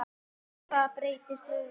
En hvað breytist núna?